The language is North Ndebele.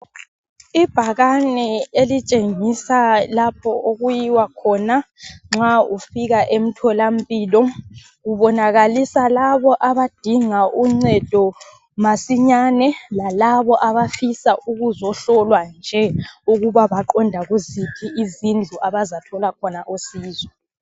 Ibhakane elitshengisa lapho okuyiwa khona nxa ufika emtholampilo .Kubonakalisa labo abadinga uncedo masinyane ,lalabo abafisa ukuzohlolwa nje ,ukuba baqonda kuziphi izindlu abazathola khona usizo.